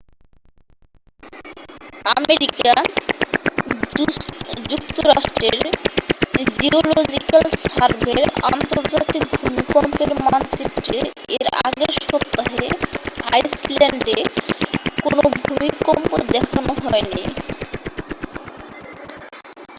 America যুক্তরাষ্ট্রের geological সার্ভের আন্তর্জাতিক ভূমিকম্পের মানচিত্রে এর আগের সপ্তাহে আইসল্যান্ডে কোনও ভূমিকম্প দেখানো হয়নি